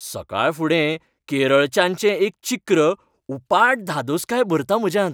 सकाळफुडें केरळ च्याचें एक चिक्र उपाट धादोसकाय भरता म्हज्यांत.